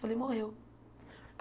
Falei, morreu.